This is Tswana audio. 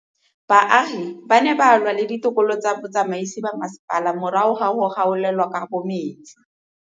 Baagi ba ne ba lwa le ditokolo tsa botsamaisi ba mmasepala morago ga go gaolelwa kabo metsi